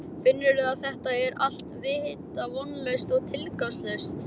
Finnur að þetta er allt vita vonlaust og tilgangslaust.